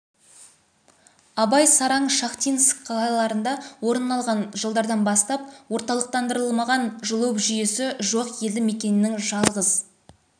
абай сараң шахтинск қалаларында орын алған жылдардан бастап орталықтандырылмаған жылу жүйесі жоқ елді мекеннің жалғыз